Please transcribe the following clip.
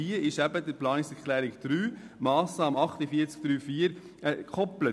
Deshalb ist die Massnahme 48.3.4 daran gekoppelt.